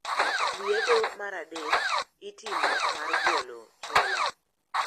Liedo mar adek itimo mar golo chola.